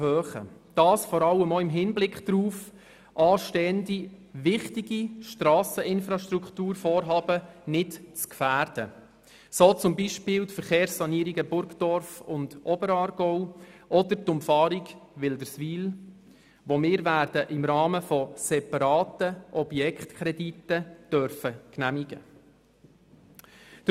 Dies vor allem auch im Hinblick darauf, anstehende wichtige Strasseninfrastrukturvorhaben nicht zu gefährden, so beispielsweise die Verkehrssanierungen Burgdorf und Oberaargau oder die Umfahrung Wil derswil, die wir im Rahmen separater Objektkredite werden genehmigen dürfen.